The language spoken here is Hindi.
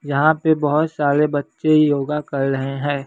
यहां पे बहोत सारे बच्चे योगा कर रहे हैं।